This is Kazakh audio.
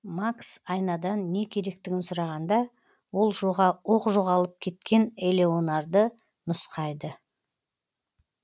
макс айнадан не керектігін сұрағанда оқ жоғалып кеткен элеанорды нұсқайды